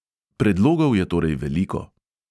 Predlogov je torej veliko.